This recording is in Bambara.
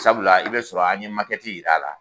Sabula i be sɔrɔ an ye makɛti yir'ala